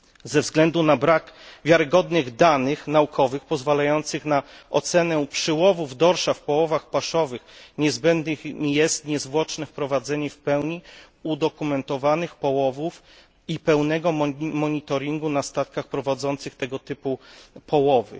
Ze względu na brak wiarygodnych danych naukowych pozwalających na ocenę przyłowów dorsza w połowach paszowych niezbędne jest niezwłoczne wprowadzenie w pełni udokumentowanych połowów i pełnego monitoringu na statkach prowadzących tego typu połowy.